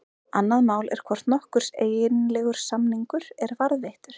Annað mál er hvort nokkur eiginlegur samningur er varðveittur.